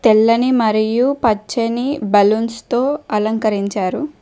తెల్లని మరియు పచ్చని బలూన్స్ తో అలంకరించారు.